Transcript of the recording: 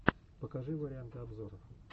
покажи варианты обзоров